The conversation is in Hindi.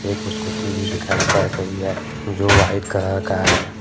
कुछ कुच्ची भी दिखाई पड़ रही है जो वाइट कलर का है।